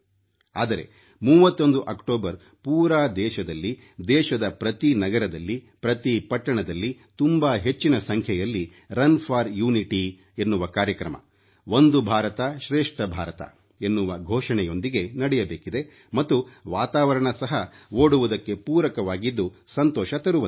ಆದರೆ 31 ಅಕ್ಟೋಬರ್ ಪೂರಾ ದೇಶದಲ್ಲಿ ದೇಶದ ಪ್ರತಿ ನಗರದಲ್ಲಿ ಪ್ರತಿ ಪಟ್ಟಣದಲ್ಲಿ ತುಂಬಾ ಹೆಚ್ಚಿನ ಸಂಖ್ಯೆಯಲ್ಲಿ ರನ್ ಫಾರ್ ಯುನಿಟಿ ಎನ್ನುವ ಕಾರ್ಯಕ್ರಮ ಒಂದು ಭಾರತ ಶ್ರೇಷ್ಠ ಭಾರತ ಎನ್ನುವ ಘೋಷಣೆಯೊಂದಿಗೆ ನಡೆಯಬೇಕಿದೆ ಮತ್ತು ವಾತಾವರಣ ಸಹ ಓಡುವುದಕ್ಕೆ ಪೂರಕವಾಗಿದ್ದು ಸಂತೋಷ ತರುವಂತಿದೆ